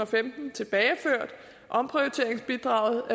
femten tilbageført omprioriteringsbidraget